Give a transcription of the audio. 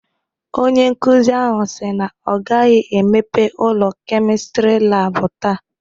Onye nkuzi ahụ si na ọ gaghị emepe ụlọ Kemịstri laabụ taa.